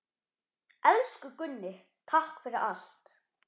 Elsku Gunni, takk fyrir allt.